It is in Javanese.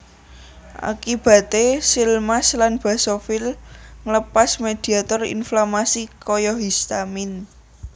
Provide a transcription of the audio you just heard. Akibate seal mast lan basofil nglepas mediator inflamasi kaya histamin